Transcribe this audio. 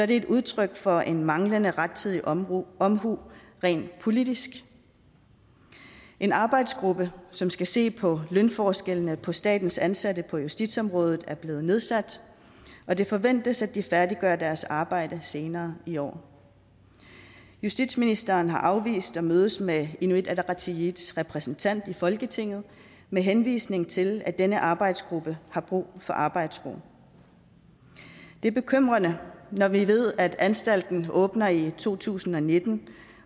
det et udtryk for en manglende rettidig omhu omhu rent politisk en arbejdsgruppe som skal se på lønforskellene for statens ansatte på justitsområdet er blevet nedsat og det forventes at de færdiggør deres arbejde senere i år justitsministeren har afvist at mødes med inuit ataqatigiits repræsentant i folketinget med henvisning til at denne arbejdsgruppe har brug for arbejdsro det er bekymrende når vi ved at anstalten åbner i to tusind og nitten